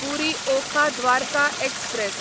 पुरी Okha Dwarka express